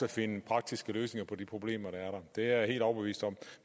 at finde praktiske løsninger på de problemer der det er jeg helt overbevist om